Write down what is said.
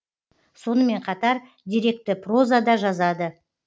сонымен қатар деректі проза да жазады